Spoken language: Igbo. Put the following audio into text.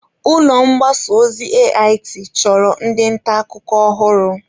Ulọ mgbasa ozi AIT chọrọ ndị nta akụkọ ọhụrụ.